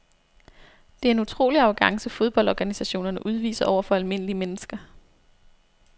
Det er en utrolig arrogance fodboldorganisationerne udviser over for almindelige mennesker.